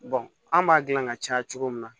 an b'a dilan ka caya cogo min na